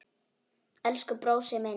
Elsku brósi minn.